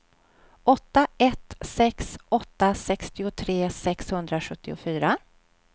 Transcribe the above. åtta ett sex åtta sextiotre sexhundrasjuttiofyra